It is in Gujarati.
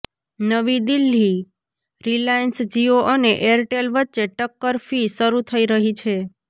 નવી દિલ્હીઃ રિલાયન્સ જિયો અને એરટેલ વચ્ચે ટક્કર ફી શરુ થઈ રહી છે